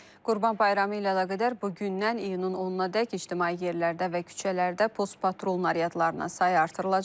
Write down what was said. Qurban Bayramı ilə əlaqədar bu gündən iyunun 10-adək ictimai yerlərdə və küçələrdə postpatrul naryadlarının sayı artırılacaq.